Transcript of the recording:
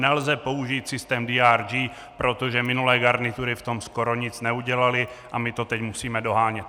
Nelze použít systém DRG, protože minulé garnitury v tom skoro nic neudělaly a my to teď musíme dohánět.